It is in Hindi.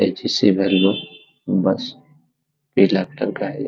बस पीला कलर का है यह।